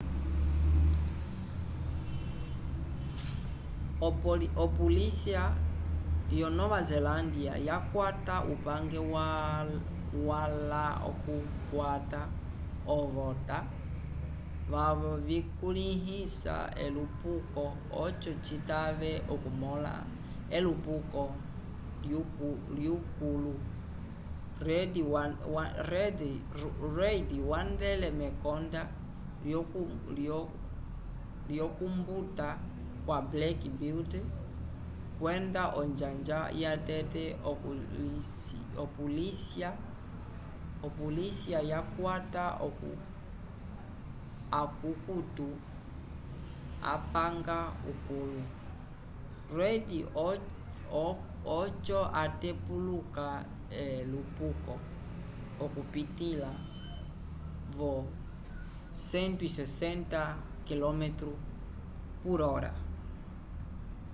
opolisya yo nova zelândia yakwata upange wala k’okukwata ovota vyavo vikulĩhisa elupuko oco citave okumõla elupuko lyukũlu. reid wandele mekonda lyokumbuta kwa black beauty kwenda onjanja yatete opolisya yakwata akukutu apanga ukũlu. reid oco atepuluka elupuko okupitĩla vo 160km/h